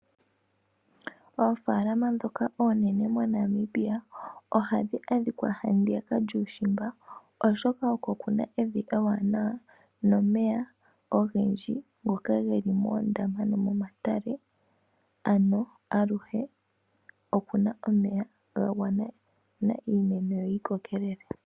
Oofalama ndhoka oonene mo Namibia ohadhi adhikwa handiyaka yuushimba, oshoka oko kuna evi ewanawa nomeya ogendji ngoka geli moondama nomomatale ano aluhe opuna omeya ga gwana iimeno yo yi kokelele.